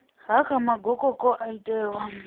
ha kha magokoko o itelwaho